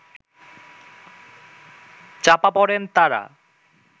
চাপা পড়েন তারা